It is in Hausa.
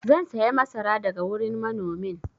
zan saya masara daga wurin manomin